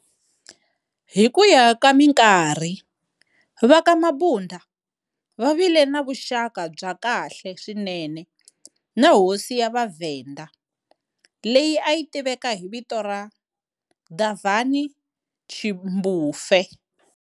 Hi kuya ka minkarhi, va ka Mabunda va vile na vuxaka bya kahle swinene na hosi ya VhaVenda leyi ayi tiveka hi vito ra Davhani tshimbufhe.